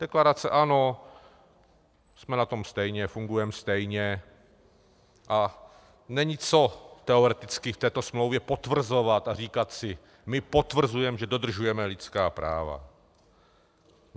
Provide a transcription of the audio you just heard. Deklarace ano, jsme na tom stejně, fungujeme stejně a není co teoreticky v této smlouvě potvrzovat a říkat si "my potvrzujeme, že dodržujeme lidská práva".